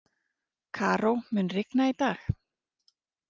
Karó, mun rigna í dag?